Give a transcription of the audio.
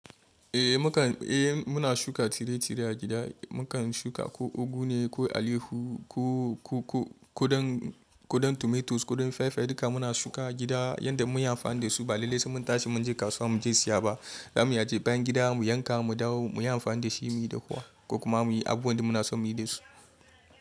Eh muka, eh muna shuka tsire-tsire a gida, mukan shuka ko ugu ne, ko alaiyahu, ko, ko, ko, ko don, ko ɗan tomatoes, ko ɗan fai fai duka muna shuka a gida yanda mun yi amfani da su, ba lallai sai mun tashi mun je kasuwa mu je siya ba. Zamu iya je bayan gida mu yanka mu dawo muyi amfani da shi muyi dahuwa ko kuma muyi abubuwa da muna son muyi da shi.